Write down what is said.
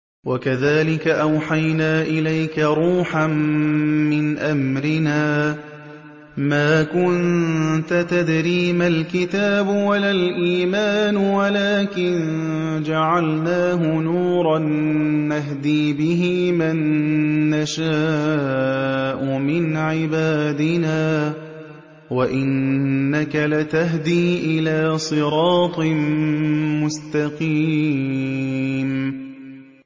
وَكَذَٰلِكَ أَوْحَيْنَا إِلَيْكَ رُوحًا مِّنْ أَمْرِنَا ۚ مَا كُنتَ تَدْرِي مَا الْكِتَابُ وَلَا الْإِيمَانُ وَلَٰكِن جَعَلْنَاهُ نُورًا نَّهْدِي بِهِ مَن نَّشَاءُ مِنْ عِبَادِنَا ۚ وَإِنَّكَ لَتَهْدِي إِلَىٰ صِرَاطٍ مُّسْتَقِيمٍ